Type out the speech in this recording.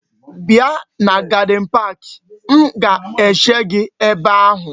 Bia na gadin park! M ga-eche gi ebe ahu.